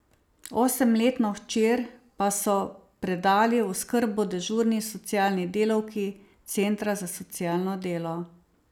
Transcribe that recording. Osemletno hčer pa so predali v oskrbo dežurni socialni delavki Centra za socialno delo.